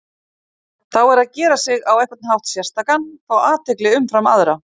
Þá er að gera sig á einhvern hátt sérstakan, fá athygli umfram aðra.